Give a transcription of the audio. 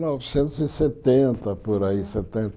Novecentos e setenta, por aí. Setenta